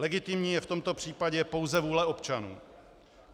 Legitimní je v tomto případě pouze vůle občanů.